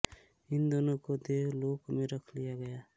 इन दोनों को देवलोक में रख लिया गया